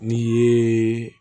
N'i ye